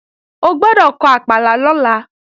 O gbọ́dọ̀ kọ àpàlà lọ́la